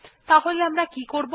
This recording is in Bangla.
তাহলে আমরা কি করবো